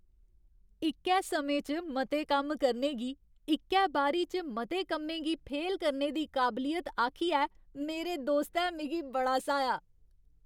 इक्कै समें च मते कम्म करने गी इक्कै बारी च मते कम्में गी फेल करने दी काबलियत आखियै मेरे दोस्तै मिगी बड़ा स्हाया ।